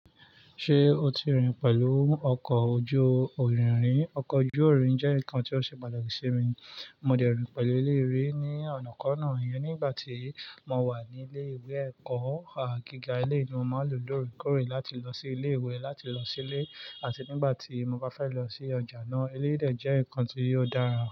Ṣé o ti rìn pẹ̀lú ọkọ̀ ojú-ìrìn ri? Ọkọ̀ ojú-ìrìn jẹ́ nǹkan tí ó ṣe pàtàkì sí mi. Mo de rìn pẹ̀lú eleyii rí ní ọ̀nà kọ́ náà iyẹn nígbà tí mo wà ní ilé ìwé ẹ̀kọ́ gíga. Eleyìí ni mo máa ń lò lóòrèkóòrè láti lọ sí ilé ìwé làti lọ sí ilé. Àti nígbà tí mo bá fẹ́ lọ sí ọjà náà, eléyìí de jẹ́ nǹkan tí ò dára.